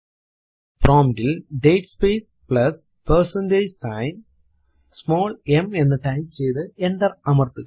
prompt ൽ date space plus percentage sign small m എന്ന് type ചെയ്തു എന്റർ അമർത്തുക